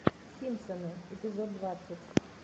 симпсоны эпизод двадцать